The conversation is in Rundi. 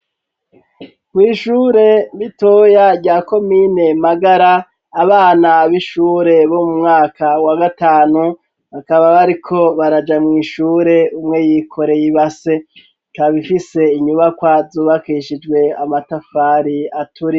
Kw'ishure ritoya rya komine Magara abana b'ishure bo mu mwaka wa gatanu bakaba bariko baraja mw'ishure umwe yikoreye ibase ikaba ifise inyubakwa zubakishijwe amatafari aturiye.